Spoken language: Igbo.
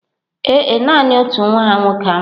Ee e, nanị otu nwa ha nwoke anwụghị.